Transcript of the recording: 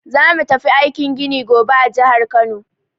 Za mu tafi aikin gini gobe a jihar Kano.